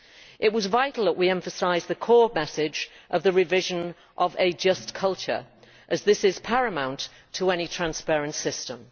It was vital that we emphasise the core message of the revision, that of a just culture', as this is paramount to any transparent system.